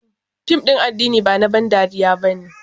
Fim ɗin na addini ne ba na ban dariya ba.